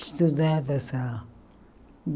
Estudava só.